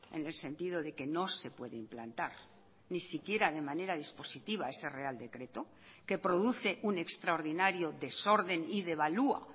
en el sentido de que no se puede implantar ni siquiera de manera dispositiva ese real decreto que produce un extraordinario desorden y devalúa